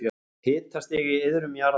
Hitastig í iðrum jarðar